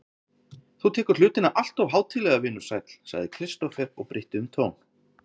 Þú tekur hlutina alltof hátíðlega, vinur sæll, sagði Kristófer og breytti um tón.